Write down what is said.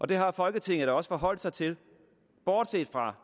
det har folketinget da også forholdt sig til bortset fra